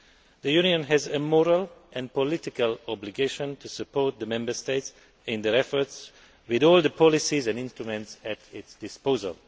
The Union has a moral and political obligation to support the Member States in their efforts with all the policies and instruments at its disposal.